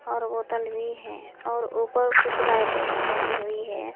और बोतल भी है और ऊपर कुछ लाइटें भी लगी हुई है।